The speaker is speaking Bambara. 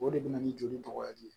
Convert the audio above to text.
O de bɛ na ni joli tɔgɔ ye